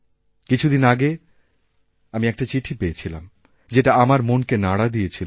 কিছুদিন আগে আমি একটা চিঠি পেয়েছিলাম যেটা আমার মনকে নাড়া দিয়েছিল